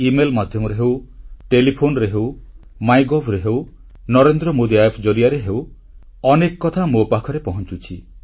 email ମାଧ୍ୟମରେ ହେଉ ଟେଲିଫୋନରେ ହେଉ ମାଇଗଭ୍ ରେ ହେଉ ନରେନ୍ଦ୍ର ମୋଦି App ଜରିଆରେ ହେଉ ଅନେକ କଥା ମୋ ପାଖକୁ ପହଂଚୁଛି